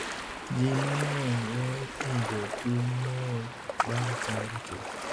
Jii mang'eny wee winjo chuny mool bang' chango chuth.